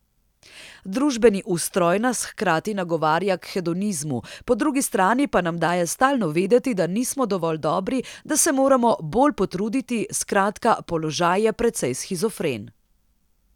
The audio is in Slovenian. Družbeni ustroj nas hkrati nagovarja k hedonizmu, po drugi strani pa nam daje stalno vedeti, da nismo dovolj dobri, da se moramo bolj potruditi, skratka, položaj je precej shizofren.